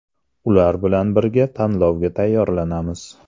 Ular bilan birga tanlovga tayyorlanamiz.